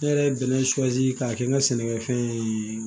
Ne yɛrɛ ye bɛnɛ su k'a kɛ n ka sɛnɛkɛfɛn ye